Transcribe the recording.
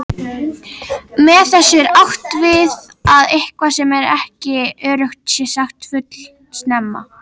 Með þessu er átt við að eitthvað sem ekki er öruggt sé sagt fullsnemma.